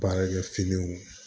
Baarakɛfiniw